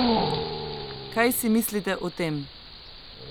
Kaj si mislite o tem?